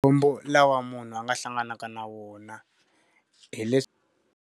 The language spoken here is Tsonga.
Makhombo lawa munhu a nga hlanganaka na wona, .